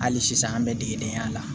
Hali sisan an bɛ degedenya la